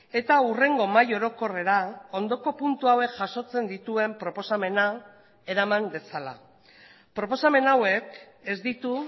eta hurrengo mahai orokorrera ondoko puntu hauek jasotzen dituen proposamena eraman dezala proposamen hauek ez ditu